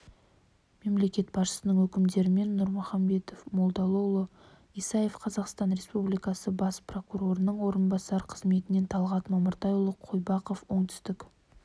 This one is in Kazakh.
мемлекет басшысының өкімдерімен нұрмаханбет молдалыұлы исаев қазақстан республикасы бас прокурорының орынбасары қызметінен талғат мамыртайұлы қойбақов оңтүстік